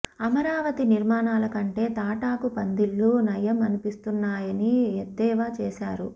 అమరావతి నిర్మాణాల కంటే తాటాకు పందిళ్లు నయం అనిపిస్తున్నాయని ఎద్దేవా చేశారు